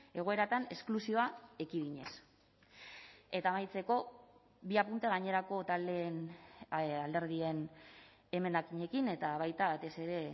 egoeratan esklusioa ekidinez eta amaitzeko bi apunte gainerako taldeen alderdien emendakinekin eta baita batez ere